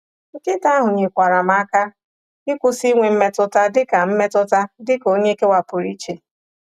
Nkịta ahụ nyekwaara m aka ịkwụsị inwe mmetụta dịka mmetụta dịka onye ekewapụrụ iche.